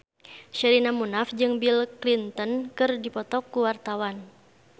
Sherina Munaf jeung Bill Clinton keur dipoto ku wartawan